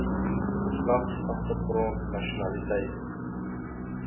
geslag agtergrond nasionaliteit